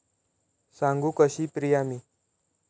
सांगू कशी प्रिया मी